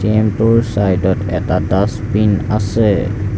ATM টোৰ চাইডট এটা ডাজবিন আছে।